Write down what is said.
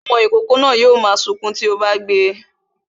Ọmọ ìkókó náà yo mo sunkún to bá ti gbé e